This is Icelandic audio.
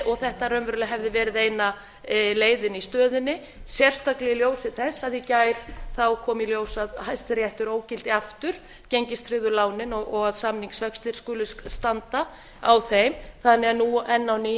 og þetta raunverulega hefði verið eina leiðin í stöðunni sérstaklega í ljósi þess að í gær kom í ljós að hæstiréttur ógilti aftur gengistryggðu lánin og að samningsvextir skuli standa á þeim þannig að nú